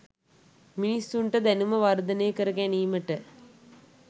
මිනිසුන්ට දැනුම වර්ධනය කර ගැනීමට